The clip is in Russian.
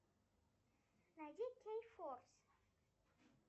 найди кей форс